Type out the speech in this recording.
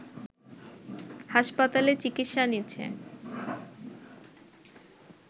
হাসপাতালে চিকিৎসা নিচ্ছেন